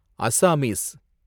Assamese